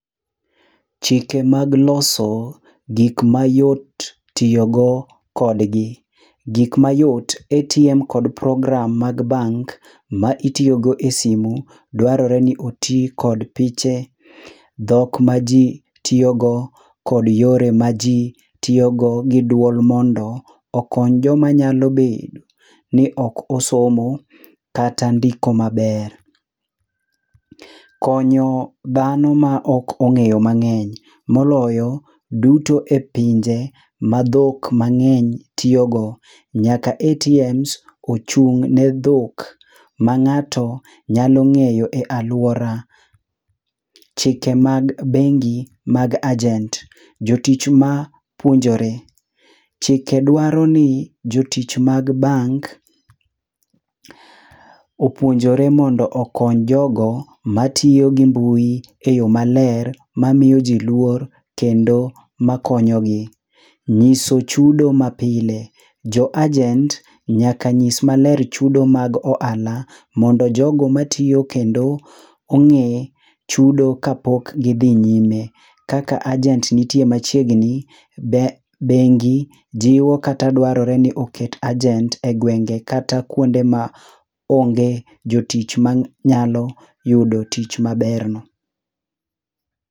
Chike mag loso gik mayot tiyo go kodgi- gik ma yot ATM kod program mag bank ma itiyogo e simu, dwarore ni oti kod piche, dhok ma ji tiyogo, kod yore ma ji tiyogo gi duol mondo okony joma nyalo bedo ni ok osomo kata ndiko maber. Konyo dhano ma ok ong'eyo mang'eny, moloyo duto e pinje ma dhok mang'eny tiyo go, nyaka ATMs ochung' ne dhok ma ng'ato nyalo ng'eyo e alwora. Chike mag bengi mag agent-jotich ma puonjore. Chike dwaro ni jotich mag bank, opuonjore mondo okony jogo matiyo gi mbui e yo maler, mamiyo ji luor, kendo ma konyo gi. Nyiso chudo mapile- jo agent nyaka nyis maler chudo mag ohala, mondo jogo matiyo kendo ong'ee chudo kapok gi dhi nyime. Kaka agent nitie machiegni, bengi jiwo kata dwarore ni jiwo kata dwarore ni oket agent e gwenge kata kuonde ma onge jotich ma nyalo yudo tich maber no.